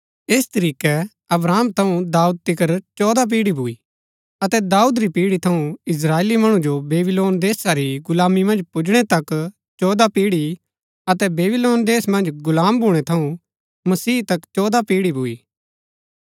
ऐस तरीकै अब्राहम थऊँ दाऊद तिकर चौदह पीढ़ी भूई अतै दाऊद री पीढ़ी थऊँ इस्त्राएली मणु जो बेबीलोन देशा री गुलामी मन्ज पुजणै तक चौदह पीढ़ी अतै बेबीलोन देश मन्ज गुलाम भूणै थऊँ मसीह तक चौदह पीढ़ी भूई